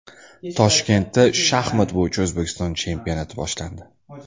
Toshkentda shaxmat bo‘yicha O‘zbekiston chempionati boshlandi.